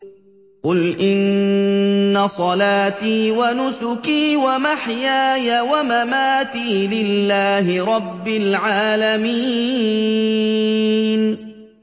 قُلْ إِنَّ صَلَاتِي وَنُسُكِي وَمَحْيَايَ وَمَمَاتِي لِلَّهِ رَبِّ الْعَالَمِينَ